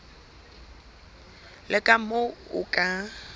le ka moo o ka